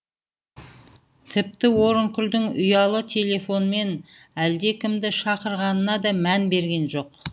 тіпті орынкүлдің ұялы телефонмен әлдекімді шақырғанына да мән берген жоқ